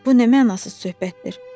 Bu nə mənasız söhbətdir.